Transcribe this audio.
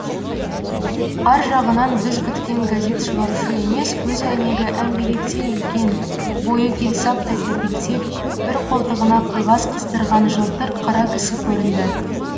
ар жағынан біз күткен газет шығарушы емес көз әйнегі әңгелектей үлкен бойы келсаптай тәпелтек бір қолтығына қағаз қыстырған жылтыр қара кісі көрінді